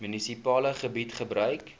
munisipale gebied gebruik